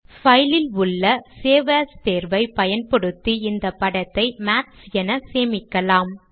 file ல் உள்ள save as தேர்வை பயன்படுத்தி இந்த படத்தை மாத்ஸ் என சேமிக்கலாம்